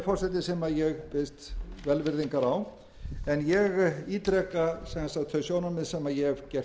forseti sem ég biðst velvirðingar á en ég ítreka sem sagt þau sjónarmið sem ég hef gert hér að